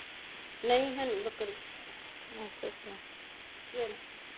ਨਹੀਂ ਹੈਨੀ ਬੱਕਰੀਆਂ ਚਲ